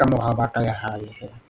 ka morao ba ka ya hae hee.